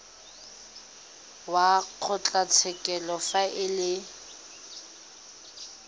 wa kgotlatshekelo fa e le